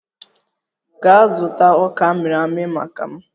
Gaa zụta ọka amịrị amị maka m!